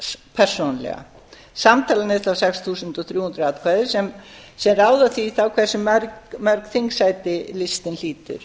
listans persónulega samtalan er þá sex þúsund og þrjú hundruð atkvæði sem ráða því þá hversu mörg þingsæti listinn hlýtur